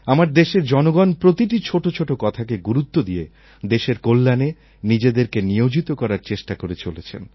আমার দেশের জনগণ প্রতিটি ছোট ছোট কথাকে গুরুত্ব দিয়ে দেশের কল্যাণে নিজেদেরকে নিয়োজিত করার চেষ্টা করে চলেছেন